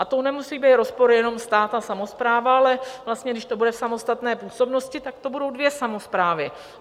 A to nemusí být rozpor jenom stát a samospráva, ale vlastně když to bude v samostatné působnosti, tak to budou dvě samosprávy.